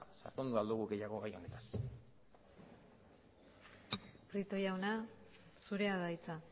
sakondu ahal dugu gehiago gai honetaz prieto jauna zurea da hitza